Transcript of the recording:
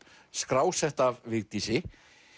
skrásett af Vigdísi